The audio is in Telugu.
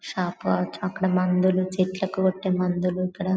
షాప్ కావచ్చు అక్కడ మందులు చెట్లులకు కోట్ మందులు ఇక్కడ